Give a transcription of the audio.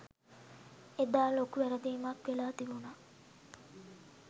එදා ලොකු වැරදීමක් වෙලා තිබුණා.